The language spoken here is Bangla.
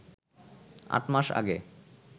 আট মাস আগে